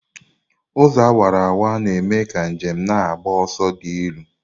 Ụzọ awara awara na-eme ka njem na-agba ọsọ dị elu.